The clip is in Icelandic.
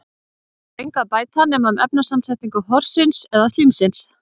Við það er engu að bæta nema um efnasamsetningu horsins eða slímsins.